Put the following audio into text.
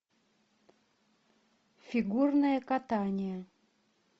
фигурное катание